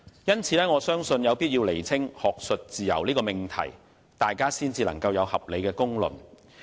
因此，我相信有必要先釐清"學術自由"這命題，才可以有合理的公論。